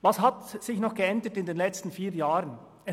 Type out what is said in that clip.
Was hat sich in den letzten vier Jahren geändert?